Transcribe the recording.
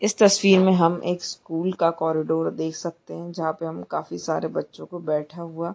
इस तस्वीर मे हम एक स्कूल का कॉरीडोर देख सकते है जहां पे हम काफी सारे बच्चे को बैठ हुआ--